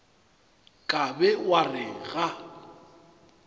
ka be wa re ga